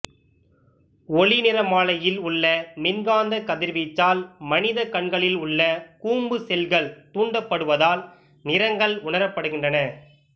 ஒளிநிறமாலையில் உள்ள மின்காந்தக் கதிர்வீச்சால் மனிதக் கண்களில் உள்ள கூம்பு செல்கள் தூண்டப்படுவதால் நிறங்கள் உணரப்படுகின்றன